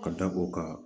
Ka da o kan